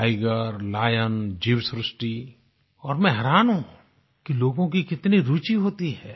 tiger lion जीवसृष्टि और मैं हैरान हूँ कि लोगों की कितनी रूचि होती है